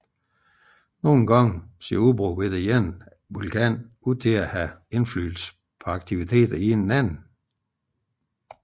Nogle gange ser udbrud ved den ene vulkan dog ud til at have indflydelse på aktivitet hos den anden